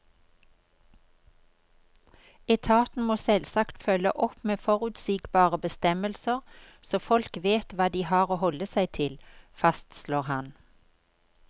Etaten må selvsagt følge opp med forutsigbare bestemmelser så folk vet hva de har å holde seg til, fastslår han.